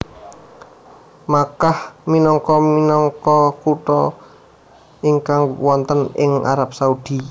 Makkah minangka minangka kutha ingkang wonten ing Arab Saudi